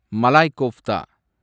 Malay kofta